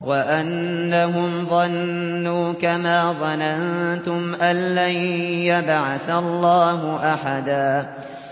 وَأَنَّهُمْ ظَنُّوا كَمَا ظَنَنتُمْ أَن لَّن يَبْعَثَ اللَّهُ أَحَدًا